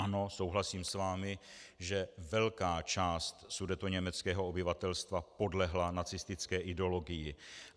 Ano, souhlasím s vámi, že velká část sudetoněmeckého obyvatelstva podlehla nacistické ideologii.